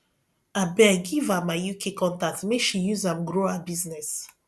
abeg give am my uk contact make she use am grow her business